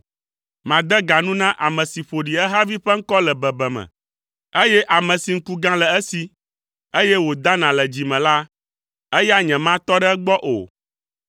Made ga nu na ame si ƒo ɖi ehavi ƒe ŋkɔ le bebeme, eye ame si ŋku gã le esi eye wòdana le dzi me la, eya nyematɔ ɖe egbɔ o.